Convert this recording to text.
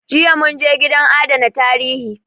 Jiya mun je gidan adana tarihi